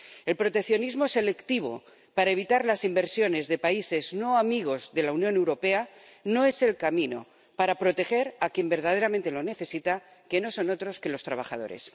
El proteccionismo selectivo para evitar las inversiones de países no amigos de la Unión Europea no es el camino para proteger a quien verdaderamente lo necesita, que no son otros que los trabajadores.